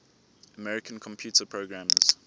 american computer programmers